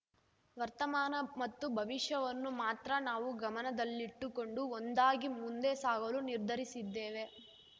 ವರ್ತಮಾನ ಮತ್ತು ಭವಿಷ್ಯವನ್ನು ಮಾತ್ರ ನಾವು ಗಮನದಲ್ಲಿಟ್ಟುಕೊಂಡು ಒಂದಾಗಿ ಮುಂದೇ ಸಾಗಲು ನಿರ್ಧರಿಸಿದ್ದೇವೆ